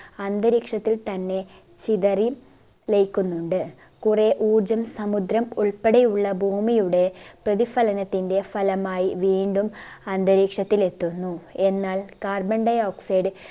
അന്തരീക്ഷത്തിൽ തന്നെ ചിതറി ലയിക്കുന്നുണ്ട് കുറെ ഊർജ്ജം സമുദ്രം ഉൾപ്പെടെയുള്ള ഭൂമിയുടെ പ്രതിഫലനത്തിൻറെ ഫലമായി വീണ്ടും അന്തരീക്ഷത്തിൽ എത്തുന്നു എന്നാൽ carbon dioxide